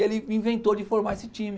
E ele inventou de formar esse time.